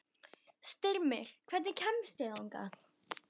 Styrmir, hvernig kemst ég þangað?